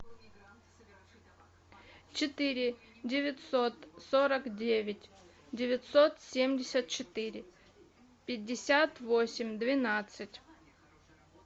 четыре девятьсот сорок девять девятьсот семьдесят четыре пятьдесят восемь двенадцать